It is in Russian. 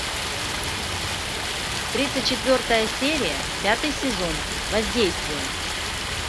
тридцать четвертая серия пятый сезон воздействие